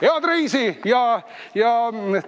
Head reisi ja tuult tiibadesse!